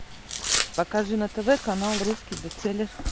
покажи на тв канал русский бестселлер